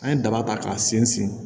An ye daba ta k'a sen